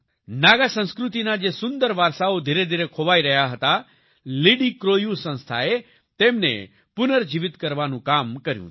નાગા સંસ્કૃતિના જે સુંદર વારસાઓ ધીરેધીરે ખોવાઈ રહ્યા હતા લિડિક્રોયૂ સંસ્થાએ તેમને પુનઃજીવિત કરવાનું કામ કર્યું છે